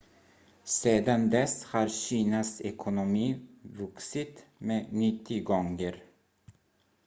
sedan dess har kinas ekonomi vuxit med 90 gånger